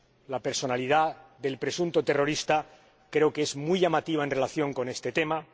La personalidad del presunto terrorista creo que es muy llamativa en relación con este tema.